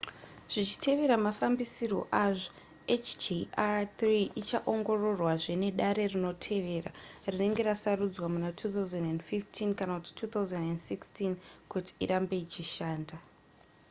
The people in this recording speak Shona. zvichitevera mafambisirwo azvo hjr-3 ichaongororwazve nedare rinotevera rinenge rasarudzwa muna 2015 kana kuti 2016 kuti irambe ichishanda